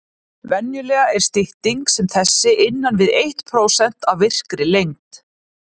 Venjulega er stytting sem þessi innan við eitt prósent af virkri lengd.